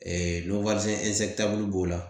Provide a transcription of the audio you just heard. b'o la